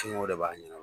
de b'a ɲɛna